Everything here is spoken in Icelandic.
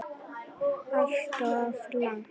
Alltof langt.